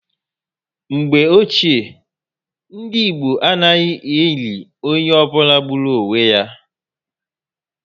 Mgbe Ochié, ndị Igbo anaghị eli onye ọ bụla gburu onwe ya